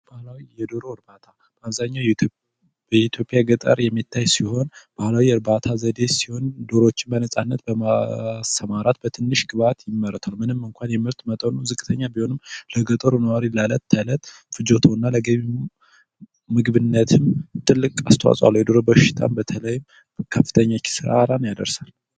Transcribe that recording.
የዶሮ እርባታ በአብዛኛው በኢትዮጵያ የገጠር አካባቢ የሚታይ ሲሆን ባህላዊ የእርባታ ዘዴ ሲሆን ዶሮዎችን በነጻነት በማሰማራት በትንሽ ግብዓት ይመረታል። ምንም እንኳን የምርት መጠኑ ዝቅተኛ ቢሆንም ለገጠሩ ነዋሪ የእለት ፍጆታውን ምግብነትን ትልቅ አስተዋጽኦ አለው የዶሮ በሽታ በተለይም ከፍተኛ ጉዳት ያደርሳል።